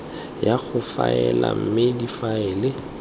ya go faela mme difaele